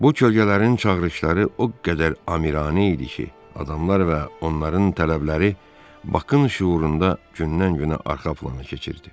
Bu kölgələrin çağırışları o qədər amiranə idi ki, adamlar və onların tələbləri Bakın şüurunda gündən-günə arxa plana keçirdi.